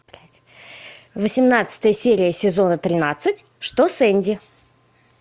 восемнадцатая серия сезона тринадцать что с энди